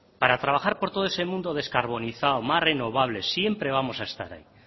para trabajar por todo ese mundo descarbonizado más renovable siempre vamos a esta ahí